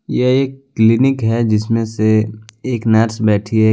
यह एक क्लिनिक है जिसमे से एक नर्स बैठी है।